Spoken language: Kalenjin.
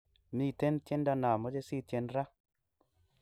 Miten tiendo namache sitien raa